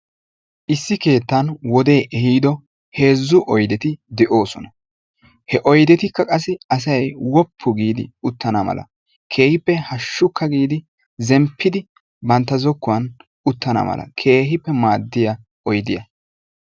issi keettan wodee ehiido heezzu oydeti de'oosona. ha oydettikka qassi asay woppu giidi uttana mala keehippe hashukka giidi bantta zokkuwan yuttana maala keehippe maadosona.